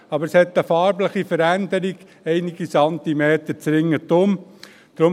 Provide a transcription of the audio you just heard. Aber es hat ringsum einige Zentimeter breit eine farbliche Veränderung.